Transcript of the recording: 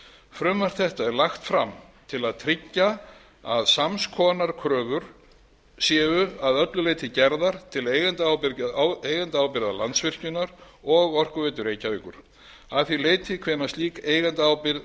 frumvarp þetta er lagt fram til að tryggja að sams konar kröfur séu að öllu leyti gerðar til eigendaábyrgða landsvirkjunar og orkuveitu reykjavíkur að því leyti hvenær slík eigendaábyrgð